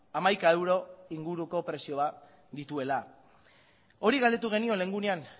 hamaika euro inguruko prezioa dituela hori galdetu genion lehengo egunean